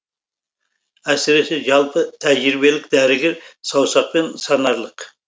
әсіресе жалпы тәжірибелік дәрігер саусақпен санарлық